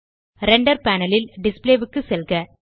render panel ல் display க்கு செல்க